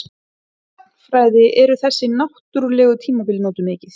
Í sagnfræði eru þessi náttúrlegu tímabil notuð mikið.